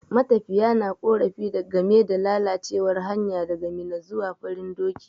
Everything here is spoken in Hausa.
Matafiya na ƙorafi game da lalacewar hanya daga Minna zuwa Farin doki.